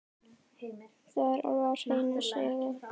Það er alveg á hreinu, segja þau.